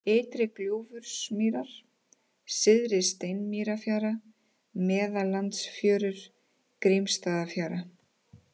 Ytri-Gljúfursmýrar, Syðri-Steinsmýrarfjara, Meðallandsfjörur, Grímsstaðafjara